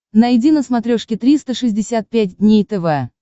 найди на смотрешке триста шестьдесят пять дней тв